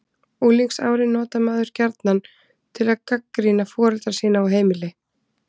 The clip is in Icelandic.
Unglingsárin notar maður gjarnan til að gagnrýna foreldra sína og heimili.